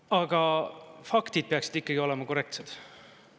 Aga faktid peaksid ikkagi olema korrektsed.